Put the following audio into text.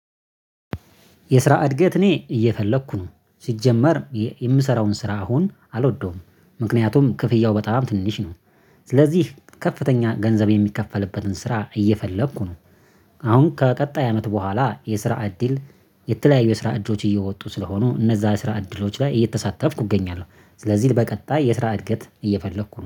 የስራ እድገት እኔ እየፈለኩ ነው ሲጀመር የምሰራውን ስራ አሁን አልወደውም ምክንያቱም ክፍያው በጣም ትንሽ ነው ስለዚህ ከፍተኛ ገንዘብ የሚከፈልበትን ስራ እየፈለኩ ነው። አሁን ከቀጣይ አመት በኋላ የስራ እድል የተለያዩ የስራ እድሎች እየወጡ ስለሆኑ እነዛ የስራ እድሎች ላይ እየተሳተፍኩ እገኛለሁ ስለዚህ በቀጣይ የስራ እድገት እየፈለኩ